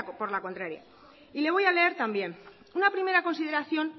por la contraria y le voy a leer también una primera consideración